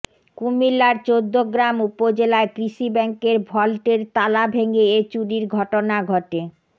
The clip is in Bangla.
কুমিল্লার চৌদ্দগ্রাম উপজেলায় কৃষি ব্যাংকের ভল্টের তালা ভেঙ্গে এ চুরির ঘটনা ঘটে